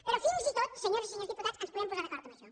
però fins i tot senyores i senyors diputats ens podem posar d’acord en això